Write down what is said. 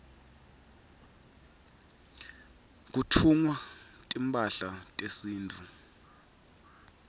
kutfungwa timphahla tesintfu